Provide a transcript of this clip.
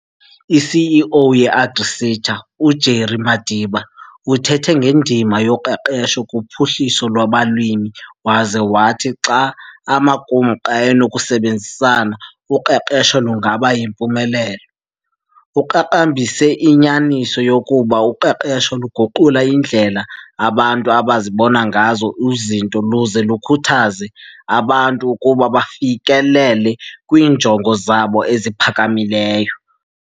I-CEO ye-AgriSeta, uJerry Madiba, uthethe ngendima yoqeqesho kuphuhliso lwabalimi waza wathi xa amaqumrhu enokusebenzisana, uqeqesho lungaba yimpumelelo. Uqaqambise inyaniso yokuba uqeqesho luguqula iindlela abantu abazibona ngazo izinto luze lukhuthaze abantu ukuba bafikelele kwiinjongo zabo eziphakamileyo.